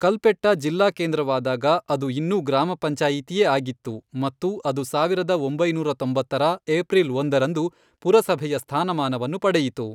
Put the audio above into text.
ಕಲ್ಪೆಟ್ಟಾ ಜಿಲ್ಲಾಕೇಂದ್ರವಾದಾಗ ಅದು ಇನ್ನೂ ಗ್ರಾಮ ಪಂಚಾಯಿತಿಯೇ ಆಗಿತ್ತು ಮತ್ತು ಅದು ಸಾವಿರದ ಒಂಬೈನೂರ ತೊಂಬತ್ತರ, ಏಪ್ರಿಲ್ ಒಂದರಂದು ಪುರಸಭೆಯ ಸ್ಥಾನಮಾನವನ್ನು ಪಡೆಯಿತು.